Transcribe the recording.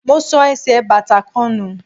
Mo sọ ẹsẹ̀ bàtà kan nù.